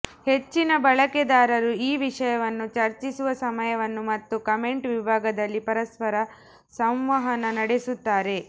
ಹೆಚ್ಚಿನ ಬಳಕೆದಾರರು ಈ ವಿಷಯವನ್ನು ಚರ್ಚಿಸುವ ಸಮಯವನ್ನು ಮತ್ತು ಕಾಮೆಂಟ್ ವಿಭಾಗಗಳಲ್ಲಿ ಪರಸ್ಪರ ಸಂವಹನ ನಡೆಸುತ್ತಾರೆ